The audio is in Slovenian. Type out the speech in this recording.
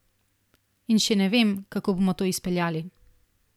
In še ne vem, kako bomo to izpeljali.